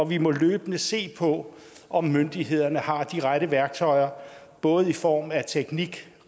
vi må løbende se på om myndighederne har de rette værktøjer både i form af teknik